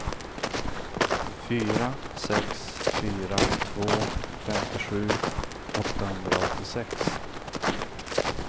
fyra sex fyra två femtiosju åttahundraåttiosex